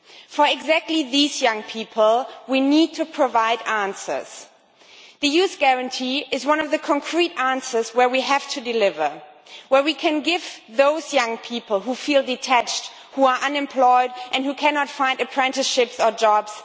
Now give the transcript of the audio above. For exactly these young people we need to provide answers. The Youth Guarantee is one of the concrete areas where we have to deliver, where we can give answers to those young people who feel detached, who are unemployed and who cannot find apprenticeships or jobs.